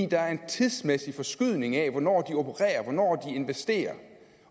der er en tidsmæssig forskydning af hvornår de opererer hvornår de investerer